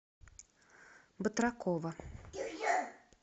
батракова